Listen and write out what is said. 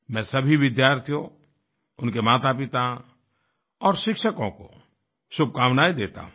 मैं सभी विद्यार्थियों उनके मातापिता और शिक्षकों को शुभकामनाएं देता हूँ